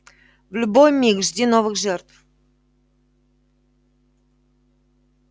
в любой миг жди новых жертв